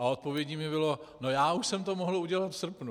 A odpovědí mi bylo - no já už jsem to mohl udělat v srpnu...